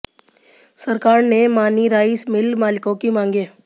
सरकार ने मानी राइस मिल मालिकों की मांगें